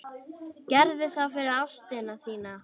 Gerðu það fyrir ástina þína.